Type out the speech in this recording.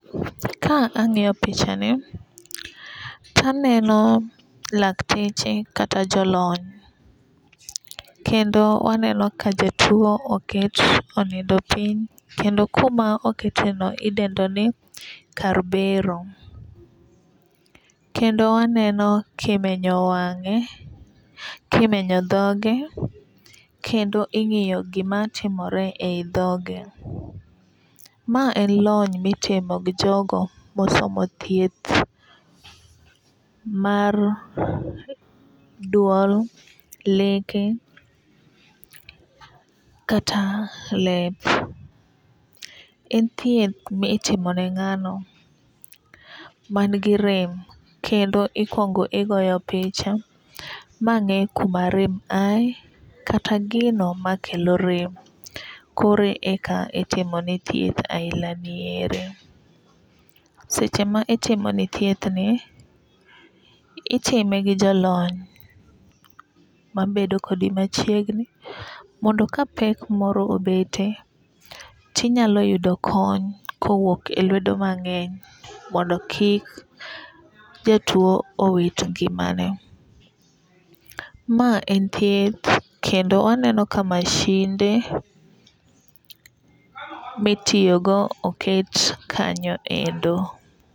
Ka ang'iyo pichani taneno lakteche kata jolony. Kendo waneno ka jatuo oket onindo piny kendo kuma okete no idendo ni kar bero. Kendo aneno kimenyo wang'e, kimenyo dhoge. Kendo ing'iyo gimatimore e yi dhoge. Ma en lony mitimo gi jogo mosomo thieth mar duol, leke, kata lep. En thieth mitimo ne ng'ano man gi rem kendo ikuongo igoyo picha ma ng'e kuma rem aye kata gino makelo rem koro enak itimo ne thieth ainagi. Seche ma itimo ne thieth ni, itime gi jalony mabedo kodi machiegni mondo ka pek moro obetie tinyalo yudo kony kowuok e lwedo mang'eny mondo kik jatuo owit ngimane. Ma en thieth kendo aneno ka masinde mitiyo go oket kanyo endo.